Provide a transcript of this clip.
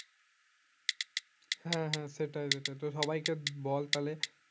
হ্যাঁ হ্যাঁ সেটাই সেটাই তো সবাইকে বল তাহলে